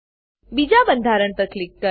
બીજા બંધારણ પર ક્લિક કરો